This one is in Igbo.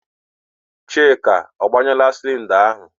Chika, agbanyụọla sịlịnda ahụ?